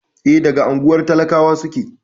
E, daga unguwar talakawa suke.